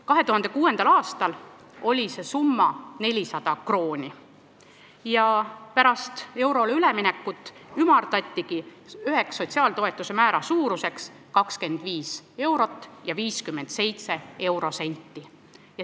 2006. aastal oli see summa 400 krooni ja pärast eurole üleminekut ümardati sotsiaaltoetuste määra suuruseks 25 eurot ja 57 senti.